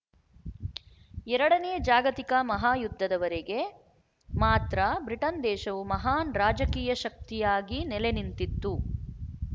ಎರಡನೇ ಜಾಗತಿಕ ಮಹಾಯುದ್ಧದವರೆಗೆ ಮಾತ್ರ ಬ್ರಿಟನ್ ದೇಶವು ಮಹಾನ್ ರಾಜಕೀಯ ಶಕ್ತಿಯಾಗಿ ನೆಲೆನಿಂತಿತ್ತು